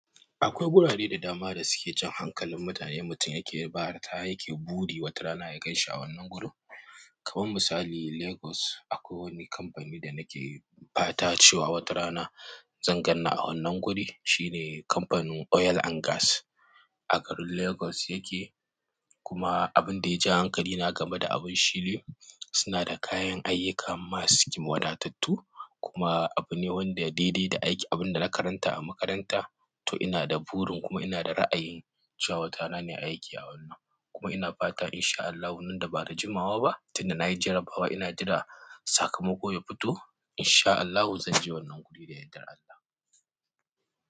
Akwai gurare da dama da suke jan hankalin mutane. Mutum yake fata, yake buri wata rana ya gan shi a wannan gurin. Kamar misali lagos akwai wani kamfani da nake fata watarana zanganni a wannan guri shi ne kamfanin oil and gas a garin Lagos yake. Kuma abin da yaja hankalina game da abun shi ne, suna da kayan ayyuka masu wadattattu kuma abu ne wanda daidai da aiki. Abin da na karanta a makaranta. To ina da burin kuma ina da ra'ayin cewa wata rana nai aiki a wannan. Kuma ina fata in sha Allahu nan da ba da jimawa ba, tin da na yi jarabawa ina jira sakamako ya fito. In sha Allahu zan je wannan guri da yardar Allah.